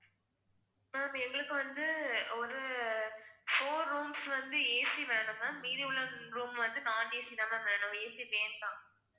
ma'am எங்களுக்கு வந்து ஒரு four rooms வந்து AC வேணும் ma'am மீதி உள்ள room வந்து non AC தான் ma'am வேணும் AC வேண்டாம்